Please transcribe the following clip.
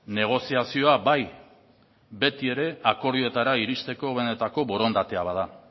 negoziazioa bai beti ere akordioetara iristeko benetako borondatea bada